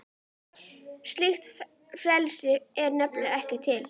Slíkt frelsi er nefnilega ekki til.